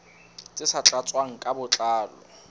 tse sa tlatswang ka botlalo